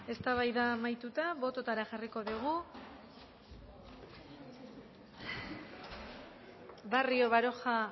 eztabaida amaituta bototara jarriko dugu barrio baroja